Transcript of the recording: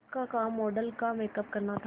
उसका काम मॉडल का मेकअप करना था